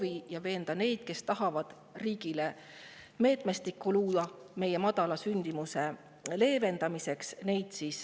Ja mitte naeruvääristama neid, kes tahavad luua meetmestikku meie madala sündimuse leevendamiseks.